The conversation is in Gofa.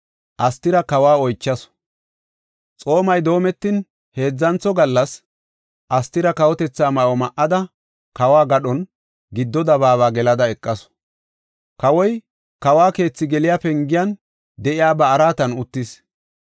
Xoomay doometin heedzantho gallas Astira kawotetha ma7o ma7ada, kawo gadhon giddo dabaaba gelada eqasu. Kawoy kawo keethi geliya pengiyan de7iya ba araatan uttis.